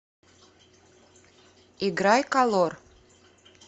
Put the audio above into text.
играй колор